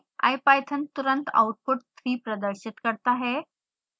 ipython तुरंत output 3 प्रदर्शित करता है